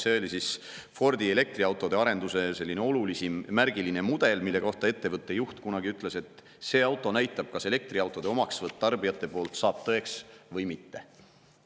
See oli Fordi elektriautode arenduse olulisim, märgiline mudel, mille kohta ettevõtte juht kunagi ütles, et see auto näitab, kas elektriautode omaksvõtt tarbijate poolt saab teoks või mitte.